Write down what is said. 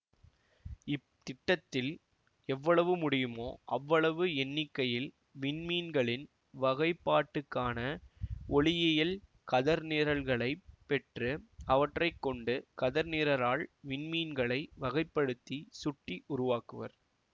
இத்திட்டத்தில் எவ்வளவு முடியுமோ அவ்வளவு எண்ணிக்கையில் விண்மீன்களின் வகைப்பாட்டுக்கான ஒளியியல் கதர்நிரல்களைப் பெற்று அவற்றை கொண்டு கதர்நிரலால் விண்மீன்களை வகைப்படுத்தி சுட்டி உருவாக்குவர்